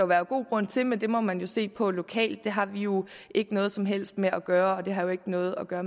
være god grund til men det må man se på lokalt det har vi jo ikke noget som helst med at gøre og det har jo ikke noget at gøre